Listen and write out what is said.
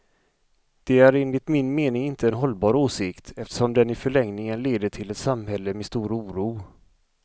Det är enligt min mening inte en hållbar åsikt, eftersom den i förlängningen leder till ett samhälle med stor oro.